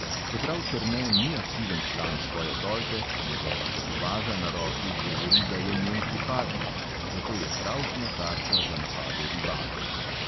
Čeprav černe ni aktiven član svoje tolpe, njegova tetovaža na roki govori, da je njen pripadnik, zato je pravšnja tarča za napade rivalov.